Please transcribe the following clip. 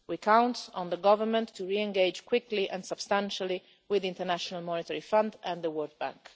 We count on the Government to reengage quickly and substantively with the International Monetary Fund and the World Bank.